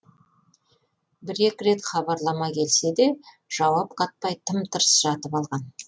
бір екі рет хабарлама келсе де жауап қатпай тым тырыс жатып алған